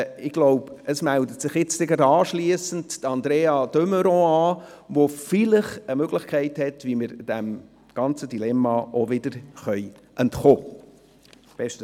Ich glaube, gleich anschliessend meldet sich Andrea de Meuron an, die vielleicht eine Möglichkeit hat, wie wir dem ganzen Dilemma wieder entkommen können.